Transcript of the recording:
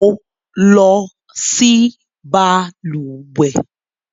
Mo. lọ sí balùwẹ́